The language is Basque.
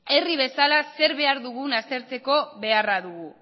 herri bezala zer behar dugun aztertzeko beharra dugu